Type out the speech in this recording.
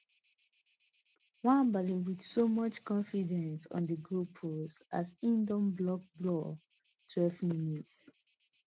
nwabali wit so much confidence on di goalpost as e on block ball twelvemins